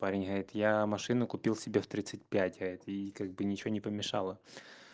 парень это я машину купил себе в тридцать пять это и как бы ничего не помешало